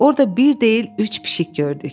Orda bir deyil, üç pişik gördük.